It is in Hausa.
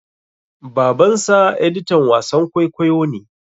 Babansa editan wasan kwaikwayo ne.